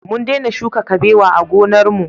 Mun dena shuka kabewa a gonar mu